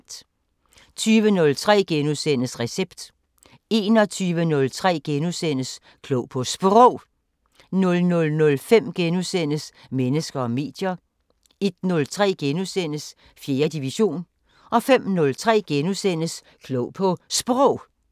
20:03: Recept * 21:03: Klog på Sprog * 00:05: Mennesker og medier * 01:03: 4. division * 05:03: Klog på Sprog *